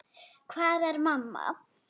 Hvar er mamma?